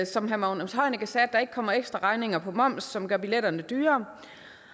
som herre magnus heunicke sagde at der ikke kommer ekstra regninger på moms som gør billetterne dyrere